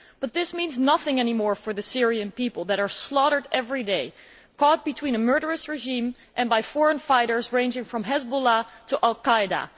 But this means nothing any more for the Syrian people who are being slaughtered every day, caught between a murderous regime and foreign fighters ranging from Hizbollah to al Qaida.